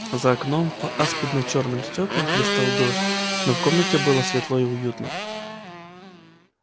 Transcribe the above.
за окном по аспидно-чёрным стёклам хлестал дождь но в комнате было светло и уютно